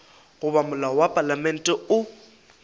goba molao wa palamente o